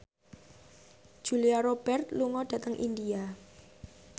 Julia Robert lunga dhateng India